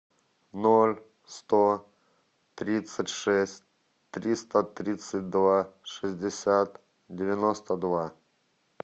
ноль сто тридцать шесть триста тридцать два шестьдесят девяносто два